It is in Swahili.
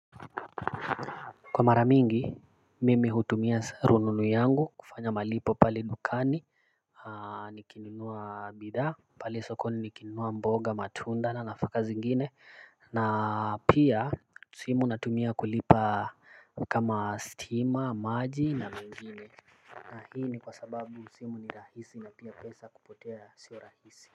Kwa mara mingi mimi hutumia rununu yangu kufanya malipo pale dukani. Nikininunua bidhaa pale sokoni nikininunua mboga matunda na nafaka zingine na pia simu natumia kulipa kama stima maji na mengine na hii ni kwa sababu simu ni rahisi na pia pesa kupotea sio rahisi.